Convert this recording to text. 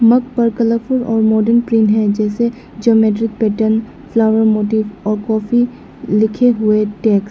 मग पर कलरफुल और modern print है जैसे ज्योमैट्रिक पैटर्न फ्लावर मोटिव और कॉफी लिखे हुए टेक्स्ट ।